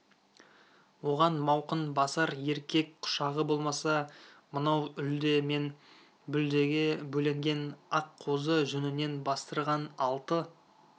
оған мауқын басар еркек құшағы болмаса мынау үлде мен бүлдеге бөленген ақ қозы жүнінен бастырған алты